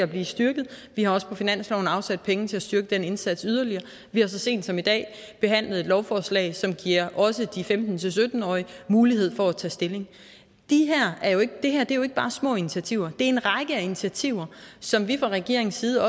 bliver styrket vi har også på finansloven afsat penge til at styrke den indsats yderligere og vi har så sent som i dag behandlet et lovforslag som giver også de femten til sytten årige mulighed for at tage stilling det her er jo ikke bare små initiativer det en række af initiativer som vi fra regeringens side